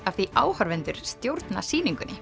af því áhorfendur stjórna sýningunni